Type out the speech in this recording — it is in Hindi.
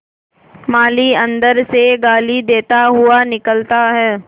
माली अंदर से गाली देता हुआ निकलता है